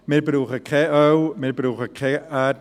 Wir brauchen kein Öl, wir brauchen kein Erdgas.